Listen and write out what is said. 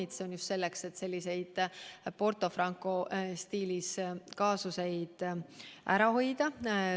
See on vajalik just selleks, et selliseid Porto Franco stiilis kaasuseid ära hoida.